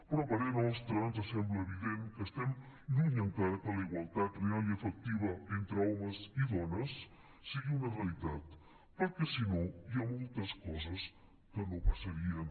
però a parer nostre ens sembla evident que estem lluny encara que la igualtat real i efectiva entre homes i dones sigui una realitat perquè si no hi ha moltes coses que no passarien